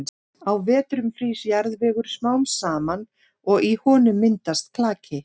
Á vetrum frýs jarðvegur smám saman og í honum myndast klaki.